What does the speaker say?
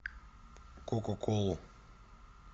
кока колу